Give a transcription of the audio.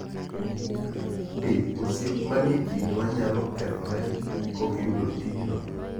Be osiep manie kindwa nyalo kethore kokiyudo tijno?